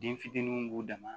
Den fitininw b'u dama